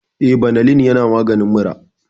Eh, banalin yana maganin mura